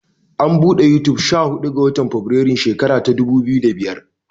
An buɗe manhajar Yutub sha huɗu ga. watan febirairun shekara ta dubu biyu da biyar.